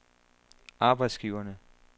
arbejdsgiverne